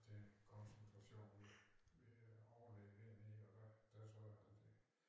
Vil konsultation ved øh overlægen dernede og der der tror jeg da det